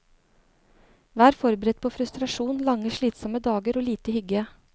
Vær forberedt på frustrasjon, lange slitsomme dager og lite hygge.